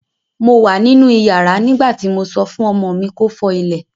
Mo wà nínú ìyàrá nígbà tí mo sọ fún ọmọ mi kó fọ ilẹ̀